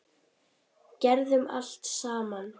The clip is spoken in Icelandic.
Gerðum allt saman.